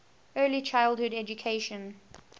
early childhood education